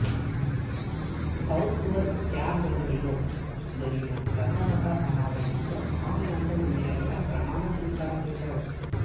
Southwark క్యాథడ్రిల్లో జరిగిన సర్వమత సమావేశంలో ఖాన్ లండన్ మేయర్గా ప్రమాణ స్వీకారం చేశారు